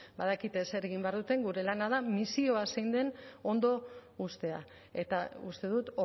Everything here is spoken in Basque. badakite zer egin behar duten gure lana da misioa zein den ondo uztea eta uste dut